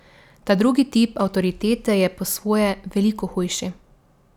Ta drugi tip avtoritete je po svoje veliko hujši.